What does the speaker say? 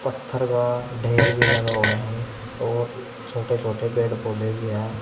पत्थर का ढेर भी लगा हुआ है और छोटे छोटे पेड़ पौधे भी है।